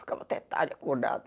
Ficava até tarde acordado.